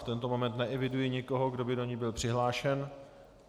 V tento moment neeviduji nikoho, kdo by do ní byl přihlášen.